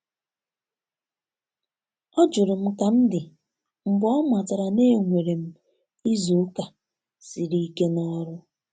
Ọ jụrụ kam di mgbe ọ matara na- enwere m izu uka siri ike na ọrụ.